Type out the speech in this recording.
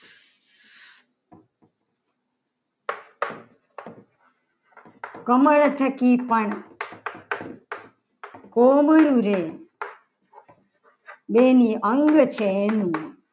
કમળ જ છે. કોમળ રે બેનું અંગ ચહેરો